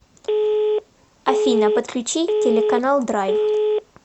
афина подключи телеканал драйв